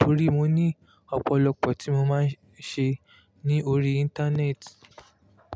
torí mo ní ọ̀pọ̀lọpọ̀ tí mo máa ń ṣe ní orí Íńtánẹ́ẹ̀tì.